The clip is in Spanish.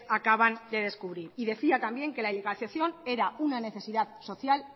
acaban de descubrir y decía también que la ilegalización era una necesidad social